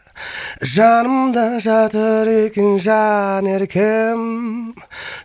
жанымда жатыр екен жанеркем